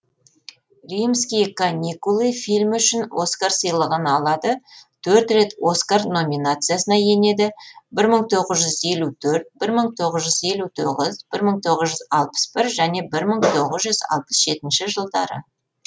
римские каникулы фильмі үшін оскар сыйлығын алады төрт рет оскар номинациясына енеді бір мың тоғыз жүз елу төрт бір мың тоғыз жүз елу тоғыз бір мың тоғыз жүз алпыс бір және бір мың тоғыз жүз алпыс жетінші жылдары